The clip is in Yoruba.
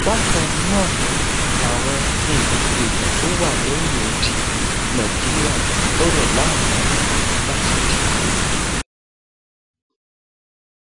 bákan náà làwọn um èèyàn tó wà lẹyìn odi nàìjíríà gbọdọ láǹfààní láti dìbò um